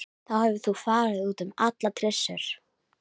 Þú hefur þá farið út um allar trissur?